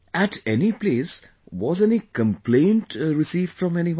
At any place, was any complaint received from anyone